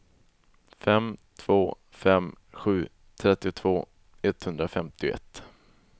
fem två fem sju trettiotvå etthundrafemtioett